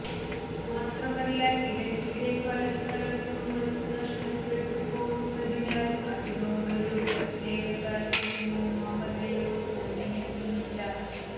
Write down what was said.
മാത്രമല്ല ഇടക്കിടെ പല സ്ഥലത്തും വച്ച് നഷ്ടപ്പെട്ടു പോവുന്നതിനാൽ അതിനോടൊരു പ്രത്യേക താൽപര്യമോ മമതയോ തോന്നിയിട്ടുമില്ല